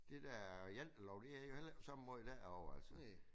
Det dér jantelov det er jo heller ikke på samme måde derovre altså